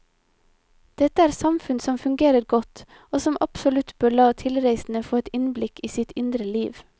Dette er samfunn som fungerer godt, og som absolutt bør la tilreisende få et innblikk i sitt indre liv.